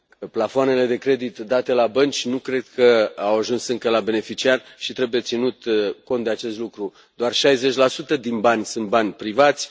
Plafoanele de credit date la bănci nu cred că au ajuns încă la beneficiari și trebuie ținut cont de acest lucru doar 60 din bani sunt bani privați.